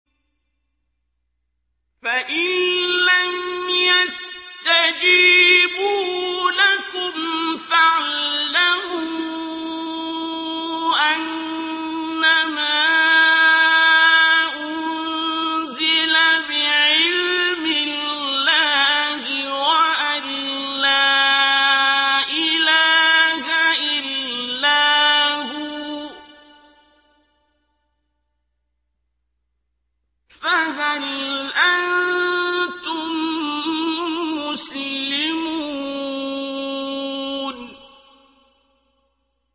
فَإِلَّمْ يَسْتَجِيبُوا لَكُمْ فَاعْلَمُوا أَنَّمَا أُنزِلَ بِعِلْمِ اللَّهِ وَأَن لَّا إِلَٰهَ إِلَّا هُوَ ۖ فَهَلْ أَنتُم مُّسْلِمُونَ